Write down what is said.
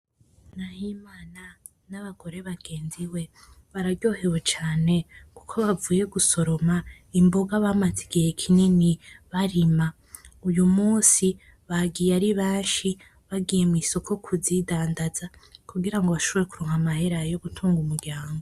Nahimana n'abagore bagenzi we bararyohewe cane kuko bavuye gusoroma imboga bamaze igihe kinini barima, uyu munsi bagiye aribenshi bagiye mw'isoko kuzidandanza kugira ashobore kuronka amahera yo gutunga umuryango.